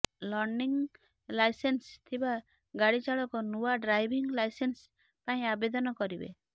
learning licence ଥିବା ଗାଡି ଚାଳକ ନୂଆ ଡ୍ରାଇଭିଂ ଲାଇସେନ୍ସ ପାଇଁ ଆବେଦନ କରିବେ